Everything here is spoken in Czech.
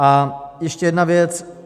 A ještě jedna věc.